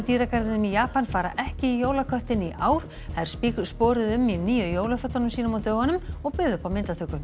dýragarðinum í Japan fara ekki í jólaköttinn í ár þær um í nýju jólafötunum sínum á dögunum og buðu upp á myndatöku